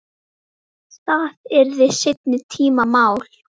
Það yrði seinni tíma mál.